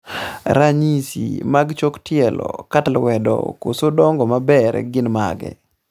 ranyisi mag chok tielo kata lwedo koso dongo maber gin mage?